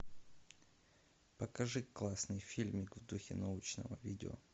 покажи классный фильм в духе научного видео